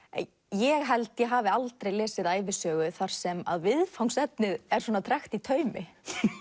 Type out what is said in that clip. ég held ég hafi aldrei lesið ævisögu þar sem viðfangsefnið er svona tregt í taumi